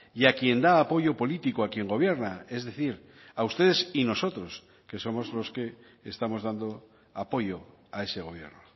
y a quien da apoyo político a quien gobierna es decir a ustedes y nosotros que somos los que estamos dando apoyo a ese gobierno